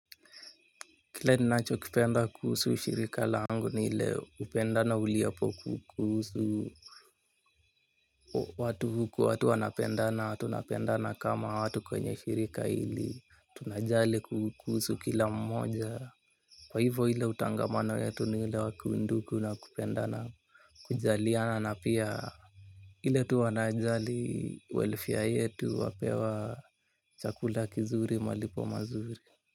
Kile ninachokipenda kuhusu shirika langu ni ile upendana uliopo kuhusu watu huku watu wanapendana tunapendana kama watu kwenye shirika hili. Tunajali kuhusu kila mmoja. Kwa hivo hile utangamana wetu ni ile wa kiundugu na kupendana. Kujaliana na pia ile tu wanajali welfare yetu wapewa chakula kizuri malipo mazuri.